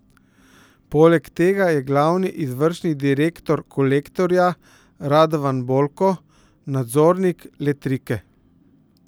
Poleg tega je glavni izvršni direktor Kolektorja Radovan Bolko nadzornik Letrike.